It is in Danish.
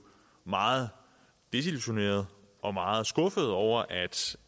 meget desillusionerede og meget skuffede over at